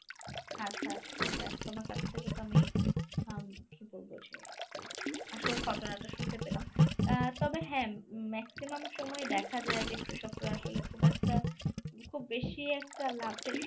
আচ্ছা আচ্ছা যাক তোমার কাছ থেকে তো আমি আম কী বলবো যে আসর ঘটনাটা শুনতে পেলাম আহ তবে হ্যাঁ maximum সময়ে দেখা যায় যে কৃষকরা আসলে খুব একটা খুব বেশি একটা লাভের